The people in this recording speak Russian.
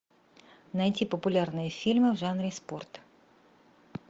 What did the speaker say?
найти популярные фильмы в жанре спорт